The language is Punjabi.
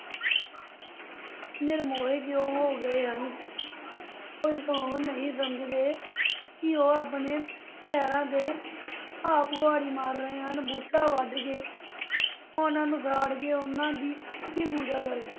ਨਿਰਮੋਹੇ ਕਿਉਂ ਹੋ ਗਏ ਹਨ ਉਹ ਕਿਉਂ ਨਹੀਂ ਸਮਝਦੇ ਕਿ ਉਹ ਆਪਣੇ ਪੈਰਾਂ 'ਤੇ ਆਪ ਕੁਹਾੜੀ ਮਾਰ ਰਹੇ ਹਨ ਬੂਟੇ ਵੱਢ ਕੇ ਉਨ੍ਹਾਂ ਨੂੰ ਸਾੜ ਕੇ, ਉਨ੍ਹਾਂ ਦੀ ਅੰਨੀ ਪੂਜਾ ਕਰਕੇ।